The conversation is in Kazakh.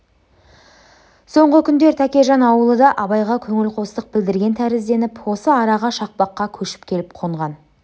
соңғы күндер тәкежан аулы да абайға көңілқостық білдірген тәрізденіп осы араға шақпаққа көшіп келіп қонған